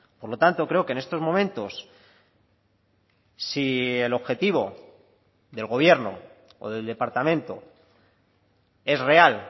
por lo tanto creo que en estos momentos si el objetivo del gobierno o del departamento es real